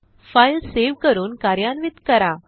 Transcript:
file save करून कार्यान्वित करा